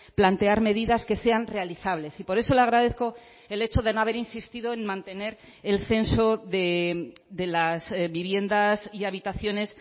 plantear medidas que sean realizables y por eso le agradezco el hecho de no haber insistido en mantener el censo de las viviendas y habitaciones